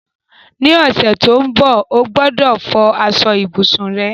Ní ọ̀sẹ̀ to n bo, o gbọ́dọ̀ fọ aso ibùsùn rẹ